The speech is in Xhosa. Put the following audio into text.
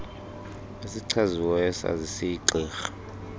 esichaziweyo sazise igqirha